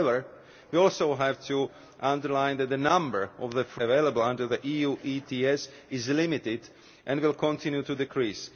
However, we also have to underline that the number of free allowances available under the EU ETS is limited and will continue to decrease.